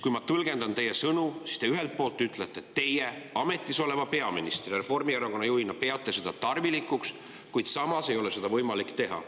Kui ma tõlgendan teie sõnu, siis te ametisoleva peaministri ja Reformierakonna juhina ütlete, et peate seda tarvilikuks, kuid samas ei ole seda võimalik teha.